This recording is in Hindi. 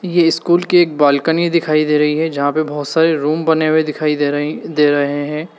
ये स्कूल की एक बालकनी दिखाई दे रही है जहां पे बहोत सारे रूम बने हुए दिखाई दे रहे दे रहे हैं।